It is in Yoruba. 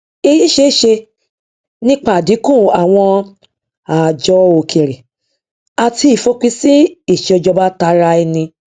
èyí ṣeéṣe nípa àdínkù àwọn ààjọ òkèrè àti ìfòpinsí ìṣèjọbataraẹni